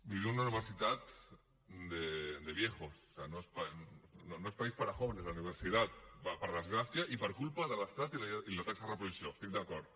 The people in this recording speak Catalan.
vivim en una universitat de viejos o sigui no es país para jóvenes la universidad per desgràcia i per culpa de l’estat i la taxa de reposició hi estic d’acord